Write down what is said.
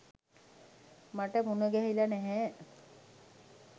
මට මුණගැහිලා නෑ.